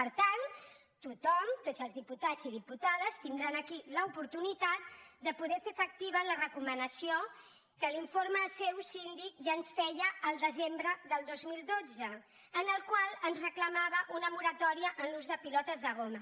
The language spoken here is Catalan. per tant tothom tots els diputats i diputades tindran aquí l’oportunitat de poder fer efectiva la recomanació que l’informe seu síndic ja ens feia el desembre del dos mil dotze en el qual ens reclamava una moratòria en l’ús de pilotes de goma